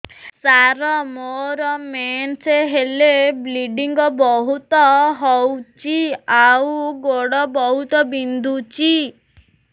ସାର ମୋର ମେନ୍ସେସ ହେଲେ ବ୍ଲିଡ଼ିଙ୍ଗ ବହୁତ ହଉଚି ଆଉ ଗୋଡ ବହୁତ ବିନ୍ଧୁଚି